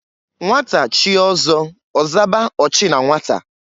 Nnwata chie ọzọ, ọzaba ochi na nwata.